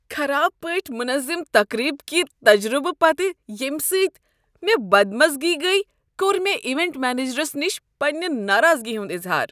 خراب پٲٹھۍ مُنظم تقریب كہِ تجربہٕ پتہٕ ییٚمہ سۭتۍ مے٘ بدمزگی گٔیہ کوٚر مےٚ ایونٛٹ منیجرس نِش پنٛنہ ناراضگی ہنٛد اظہار۔